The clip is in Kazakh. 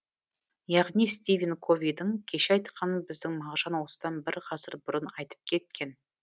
яғни стивен ковидің кеше айтқаны біздің мағжан осыдан бір ғасыр бұрын айтып кеткен